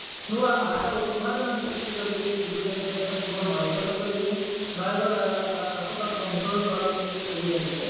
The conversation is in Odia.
ନୂଆ ଆଶା ଆଉ ଉନ୍ମାଦନା ବି ସୃଷ୍ଟି କରିଛି ଯଉଟାକି ଏବେ ଏଟା କେବଳ ନୟାଗଡ କହିବେନି ନୟାଗଡ ଆଖପାଖ ଅଞ୍ଚଳଠୁ ଆରମ୍ଭ କରିକି ସବୁ ଜାଗାରେ